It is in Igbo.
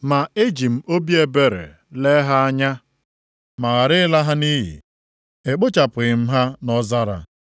Ma eji m obi ebere lee ha anya ma ghara ịla ha nʼiyi. Ekpochapụghị m ha nʼọzara.